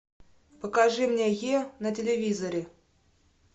покажи мне е на телевизоре